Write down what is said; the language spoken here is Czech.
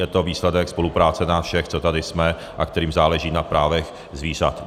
Je to výsledek spolupráce nás všech, co tady jsme a kterým záleží na právech zvířat.